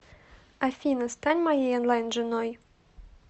афина стань моей онлайн женой